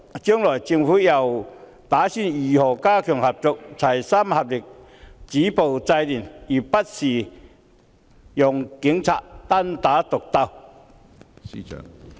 將來政府打算如何加強合作，齊心合力，止暴制亂，而不是讓警察單打獨鬥？